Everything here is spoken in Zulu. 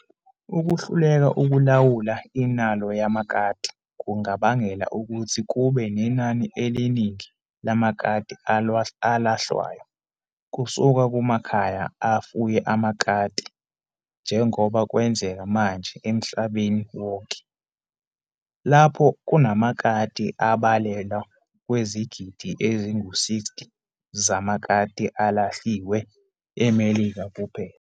Ukuhluleka ukulawula inalo yamakati kungabangela ukuthi kube nenani eliningi lamakati alahlwayo kusuka kumakhaya afuye amakati njengoba kwenzeka manje emhlabeni wonke, lapho kunamakati abalelwa kwizigidi ezingu-60 zamakati alahliwe e-Melika kuphela.